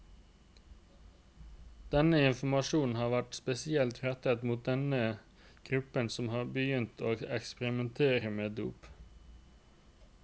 Denne informasjonen har vært spesielt rettet mot den gruppen som har begynt å eksperimentere med dop.